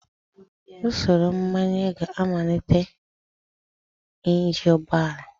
Usoro mgbanye ga-amalite injin ụgbọ ala.